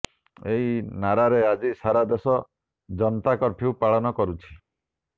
ଏହି ନାରାରେ ଆଜି ସାରା ଦେଶ ଜନତା କର୍ଫ୍ୟୁ ପାଳନ କରୁଛି